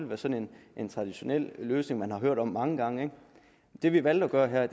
været sådan en traditionel løsning man har hørt om mange gange men det vi har valgt at gøre her